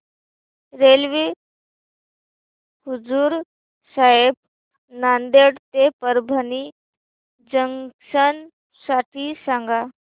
railway Huzur Sahib Nanded ते Parbhani junction साठी सांगा